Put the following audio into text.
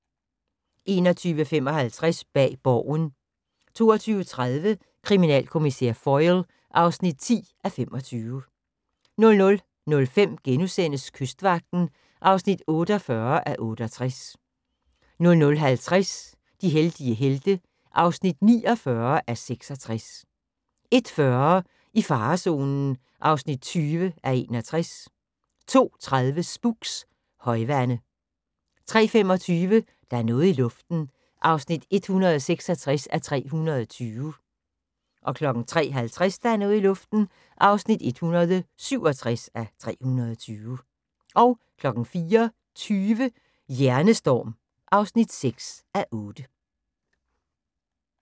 21:55: Bag Borgen 22:30: Kriminalkommissær Foyle (10:25) 00:05: Kystvagten (48:68)* 00:50: De heldige helte (49:66) 01:40: I farezonen (40:61) 02:30: Spooks: Højvande 03:25: Der er noget i luften (166:320) 03:50: Der er noget i luften (167:320) 04:20: Hjernestorm (6:8)